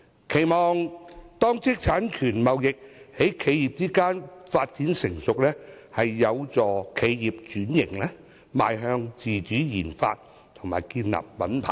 我期望，當知識產權貿易在企業間發展成熟時，會有助企業轉型，邁向自主研發及建立品牌。